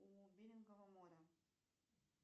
у берингова моря